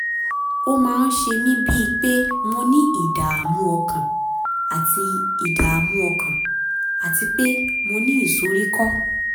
ó máa ń ṣe mí bíi pé mo ní ìdààmú ọkàn àti ìdààmú ọkàn àti pé mo ní ìsoríkọ́